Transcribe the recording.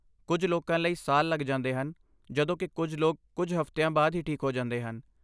ਕੁੱਝ ਲੋਕਾਂ ਲਈ ਸਾਲ ਲੱਗ ਜਾਂਦੇ ਹਨ, ਜਦੋਂ ਕਿ ਕੁੱਝ ਲੋਕ ਕੁੱਝ ਹਫ਼ਤਿਆਂ ਬਾਅਦ ਹੀ ਠੀਕ ਹੋ ਜਾਂਦੇ ਹਨ।